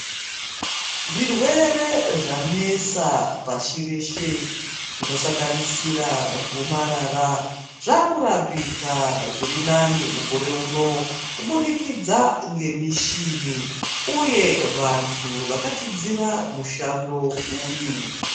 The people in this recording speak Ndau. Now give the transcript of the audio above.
Zvirwere zvanesa pashi reshe zvinosanganisira gomarara zvakurapika zvirinani mukore uno kubudikidza ngemishini uye vanthu vakadzidzira mushando uyu.